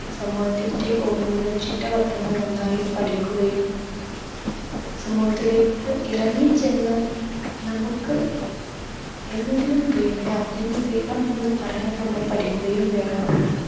സമൂഹത്തിന്റെ ഓരോരോ ചിട്ടവട്ടങ്ങൾ നന്നായി പഠിക്കുകയും സമൂഹത്തിലേക്ക് ഇറങ്ങിച്ചെന്ന് നമുക്ക് എന്നെങ്കിലും വേണ്ട അല്ലെങ്കിൽ വേണം എന്ന് പറയാൻ നമ്മൾ പഠിക്കുകയും വേണം